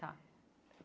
Tá.